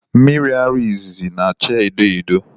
Miri ara izizi na-achaa edo edo.